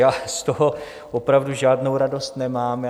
Já z toho opravdu žádnou radost nemám.